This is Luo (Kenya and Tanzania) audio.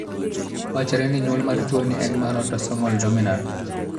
Wachre ni nyuol mar tuoni en mar autosomal dominant.